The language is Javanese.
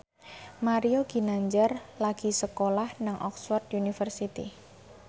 Mario Ginanjar lagi sekolah nang Oxford university